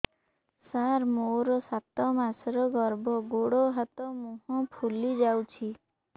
ସାର ମୋର ସାତ ମାସର ଗର୍ଭ ଗୋଡ଼ ହାତ ମୁହଁ ଫୁଲି ଯାଉଛି